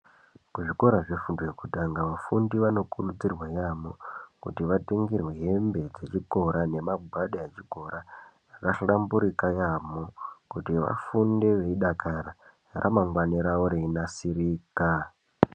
Kuzvikora zvefundo yekutanga, vafundi vanokurudzirwa yaamho, kuti vatengerwe hembe dzechikora nemagwada echikora zvakahlamburika yaamho. Kuti vafunde vei dakarara, ramangwani ravo reinasirika.